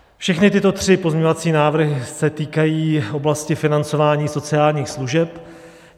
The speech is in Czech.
Všechny tyto tři pozměňovací návrhy se týkají oblasti financování sociálních služeb.